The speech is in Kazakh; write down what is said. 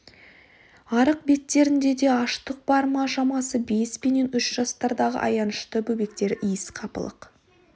арық беттерінде аштық та бар шамасы бес пенен үш жастардағы аянышты бөбектер иіс қапалық